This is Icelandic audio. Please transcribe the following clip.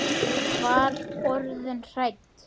Var orðin hrædd!